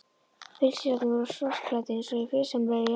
Bílstjórarnir voru svartklæddir, eins og í friðsamlegri jarðarför.